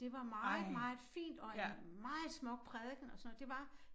Det var meget meget fint og en meget smuk prædiken og sådan noget det var